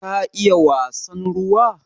Ka iya wasan ruwa?